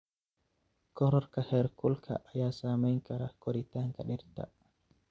Korodhka heerkulka ayaa saameyn kara koritaanka dhirta.